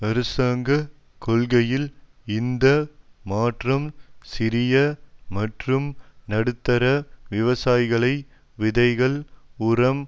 அரசாங்க கொள்கையில் இந்த மாற்றம் சிறிய மற்றும் நடுத்தர விவசாயிகளை விதைகள் உரம்